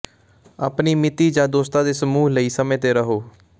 ਆਪਣੀ ਮਿਤੀ ਜਾਂ ਦੋਸਤਾਂ ਦੇ ਸਮੂਹ ਲਈ ਸਮੇਂ ਤੇ ਰਹੋ